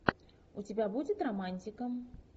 у тебя будет романтика